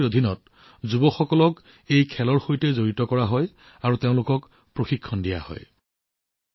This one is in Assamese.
এই কাৰ্যসূচীৰ অধীনত যুৱকযুৱতীসকলক এই খেলৰ সৈতে সংযুক্ত কৰা হয় আৰু তেওঁলোকক প্ৰশিক্ষণ দিয়া হয়